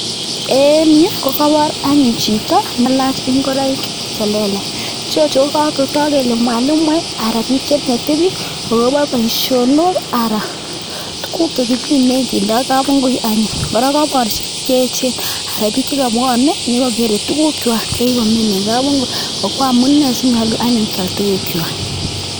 En yu ko kobor chito chekaila ingoroik chelelach kotog kele mwalimuek ara bik cheinete bik agobo boishonok tuguk chekimine kindo imbar angun kokobor bik cheyechen chekabuonen nyokokere tuguk check chekikomin en kap ingui amine sikyal anyun tukuk cheak